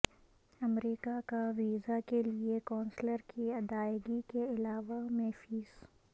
امریکہ کا ویزا کے لئے کونسلر کی ادائیگی کے علاوہ میں فیس